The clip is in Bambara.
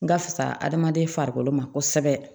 N ka fisa adamaden farikolo ma kosɛbɛ